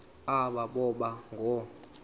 aba boba ngoo